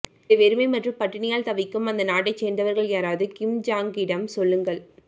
இதை வெறுமை மற்றும் பட்டினியால் தவிக்கும் அந்த நாட்டை சேர்ந்தவர்கள் யாராவது கிம் ஜாங்கிடம் சொல்லுங்கள்